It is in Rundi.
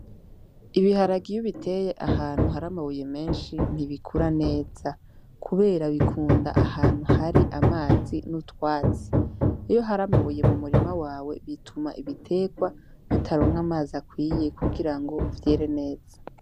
Ibiharage iyo ubiteye ahantu hari amabuye menshi ntibikura neza , kubera bikunda ahantu hari amazi n'utwatsi, iyo har'amabuye mu murima wawe bituma ibiterwa bitaronka amaz'akwuye kugira ngo vyere neza.